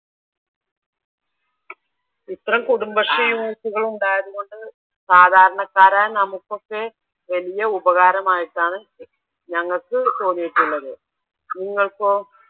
ഞങ്ങൾക്ക് തോന്നിയിട്ടുള്ളത് നിങ്ങൾക്കോ?